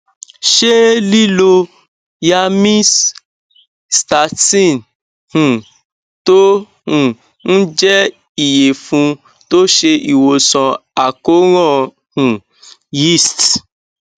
ṣé lílo nyamyc nystatin um tó um ń jẹ iyefun tó se iwosan akoran um yeast